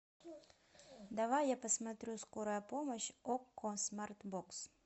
давай я посмотрю скорая помощь окко смарт бокс